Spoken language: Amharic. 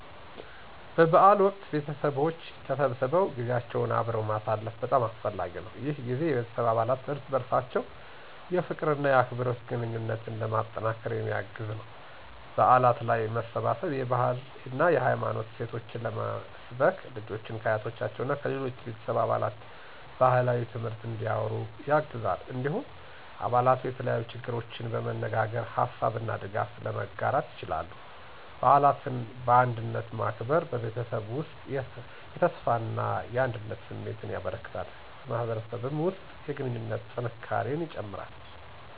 በበዓል ወቅት ቤተሰቦች ተሰብስበው ጊዜያቸውን አብረው ማሳለፍ በጣም አስፈላጊ ነው። ይህ ጊዜ የቤተሰብ አባላት እርስ በርሳቸው የፍቅር እና የአክብሮት ግንኙነትን ለማጠናከር የሚያግዝ ነው። በዓላት ላይ መሰባሰብ የባህልና የሃይማኖት እሴቶችን ለመስበክ፣ ልጆችን ከአያቶቻቸው እና ከሌሎች ቤተሰብ አባላት ባህላዊ ትምህርት እንዲያወሩ ያግዛል። እንዲሁም አባላቱ የተለያዩ ችግሮችን በመነጋገር ሀሳብ እና ድጋፍ ለመጋራት ይችላሉ። በዓላትን በአንድነት ማክበር በቤተሰብ ውስጥ የተስፋና አንድነት ስሜትን ያበረክታል፣ በማህበረሰብም ውስጥ የግንኙነት ጥንካሬን ይጨምራል።